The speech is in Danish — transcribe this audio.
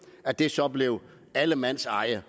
at det så blev allemandseje